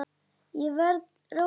Ég verð róleg.